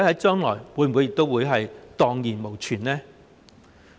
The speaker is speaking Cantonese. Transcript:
將來會否蕩然無存呢？